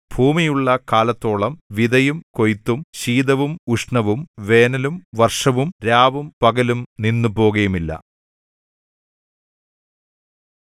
ഭൂമിയുള്ള കാലത്തോളം വിതയും കൊയ്ത്തും ശീതവും ഉഷ്ണവും വേനലും വർഷവും രാവും പകലും നിന്നുപോകയുമില്ല